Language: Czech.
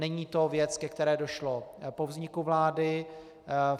Není to věc, ke které došlo po vzniku vlády.